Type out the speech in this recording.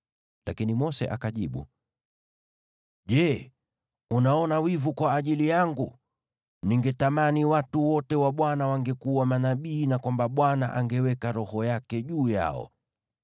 Lakini Mose akajibu, “Je, unaona wivu kwa ajili yangu? Ningetamani watu wote wa Bwana wangekuwa manabii na kwamba Bwana angeweka Roho yake juu yao!”